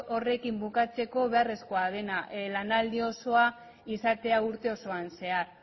horrekin bukatzeko beharrezkoa dena lanaldi osoa izatea urte osoan zehar